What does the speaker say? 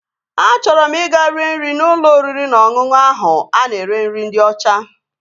Achọrọ m ị ga-rie nri n'ụlọ oriri na ọṅụṅụ ahụ a na-ere nri ndị ọcha